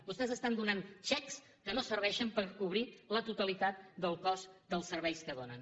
vostès estan donant xecs que no serveixen per cobrir la totalitat del cost dels serveis que donen